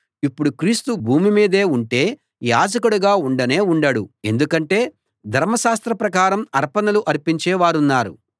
ఇప్పుడు క్రీస్తు భూమి మీదే ఉంటే యాజకుడిగా ఉండనే ఉండడు ఎందుకంటే ధర్మశాస్త్ర ప్రకారం అర్పణలు అర్పించేవారున్నారు